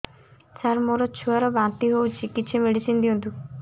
ସାର ମୋର ଛୁଆ ର ବାନ୍ତି ହଉଚି କିଛି ମେଡିସିନ ଦିଅନ୍ତୁ